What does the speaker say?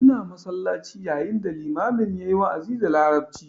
Ina masallaci yayin da limamin yayi wa'azi da larabci